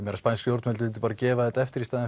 spænsk stjórnvöld myndu bara gefa þetta eftir í stað